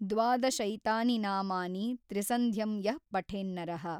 ದ್ವಾದಶೈತಾನಿ ನಾಮಾನಿ ತ್ರಿಸಂಧ್ಯಂ ಯಃ ಪಠೇನ್ನರಃ।